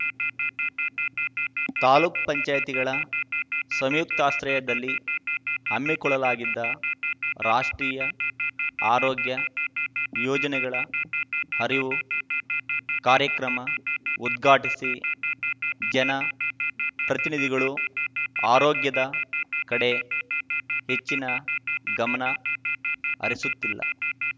ತಾಲೂಕ್ ಪಂಚಾಯ್ತಿಗಳ ಸಂಯುಕ್ತಾಶ್ರಯದಲ್ಲಿ ಹಮ್ಮಿಕೊಳ್ಳಲಾಗಿದ್ದ ರಾಷ್ಟ್ರೀಯ ಆರೋಗ್ಯ ಯೋಜನೆಗಳ ಅರಿವು ಕಾರ್ಯಕ್ರಮ ಉದ್ಘಾಟಿಸಿ ಜನ ಪ್ರತಿನಿಧಿಗಳು ಆರೋಗ್ಯದ ಕಡೆ ಹೆಚ್ಚಿನ ಗಮನ ಹರಿಸುತ್ತಿಲ್ಲ